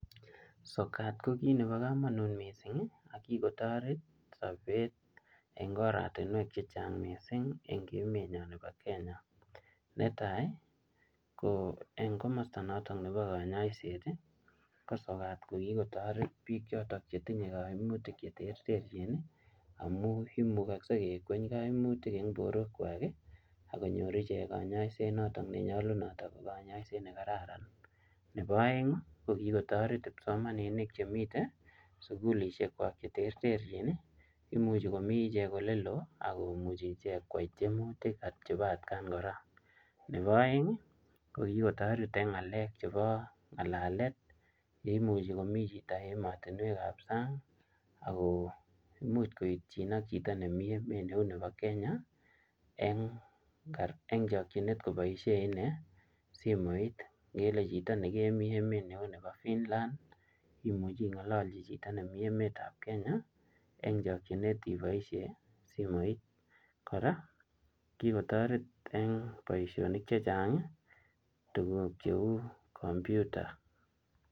Sokat ko kiit nebo komonut missing, akikotoret sobet eng oratunwek chechang missing eng emet nyo nebo Kenya. Netai, ko eng komasta notok nebo kanyaiset, ko sokat ko kikotoret biik chotok che tinye kaimutik che terterchin, amu imugakse kekweny kaimutik eng borwek kwak, akonyor ichek kanyaiset notok ne nyolunot ako konyoiset ne karararan. Nebo aeng , ko kikotoret kipsomaninik che mitei sukulishek kwak che terterchin. Imuchi komii ichek ole loo, akomuchi ichek kwai tiemutik chebo atkaan kora. Nebo aeng, ko kikotoret eng ng'alek chebo ng'alalet, imuchi komii chito emotunwek ap sang, ako imuch koitchin ak chito nemii emet nebo Kenya eng-eng chakchinet koboisie inee simoit. Ngele chito nemii emet neu nebo Finland, imuchi ingalalchi chito nemii emet ap kenya eng chakchinet iboisie simoit. Kora, kikotoret eng boisonik chechang tuguk cheu kompyuta.